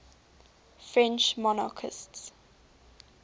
french monarchists